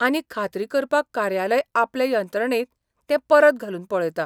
आनी खात्री करपाक कार्यालय आपले यंत्रणेंत तें परत घालून पळयता.